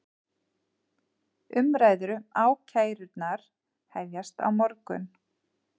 Umræður um ákærurnar hefjast á morgun